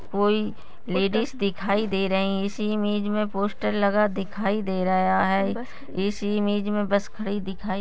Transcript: कोई लेडीस दिखाई दे रही है इस इमेज मे पोस्टर लगा दिखाई दे रहा है इस इमेज मे बस खडी दिखाई --